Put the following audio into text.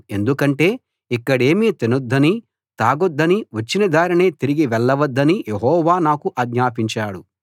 ఎందుకంటే ఇక్కడేమీ తినొద్దనీ తాగొద్దనీ వచ్చిన దారినే తిరిగి వెళ్ళవద్దనీ యెహోవా నాకు ఆజ్ఞాపించాడు